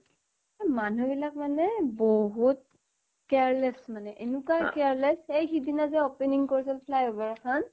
এহ্ মানুহ বিলাক মানে বহুত careless মানে এনেকুৱা careless সেই সিদিনা যে opening কৰিছিল fly over খন